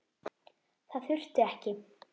Það þurfti ekki.